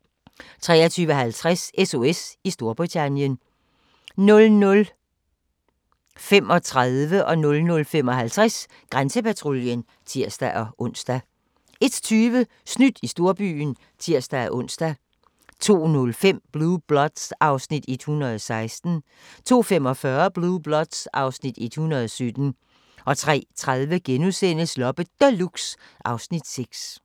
23:50: SOS i Storbritannien 00:35: Grænsepatruljen (tir-ons) 00:55: Grænsepatruljen (tir-ons) 01:20: Snydt i storbyen (tir-ons) 02:05: Blue Bloods (Afs. 116) 02:45: Blue Bloods (Afs. 117) 03:30: Loppe Deluxe (Afs. 6)*